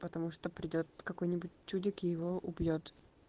потому что придёт какой-нибудь чудик и его убьёт